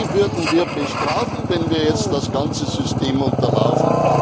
Die würden wir bestrafen, wenn wir jetzt das ganze System unterlaufen.